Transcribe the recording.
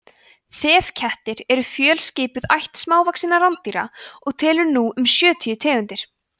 þefkettir eru fjölskipuð ætt smávaxinna rándýra og telur nú um sjötíu tegundir